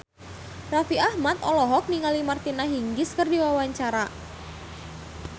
Raffi Ahmad olohok ningali Martina Hingis keur diwawancara